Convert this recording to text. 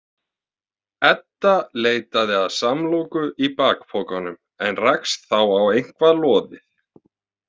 Edda leitaði að samloku í bakpokanum en rakst þá á eitthvað loðið.